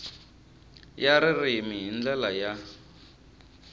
ya ririmi hi ndlela ya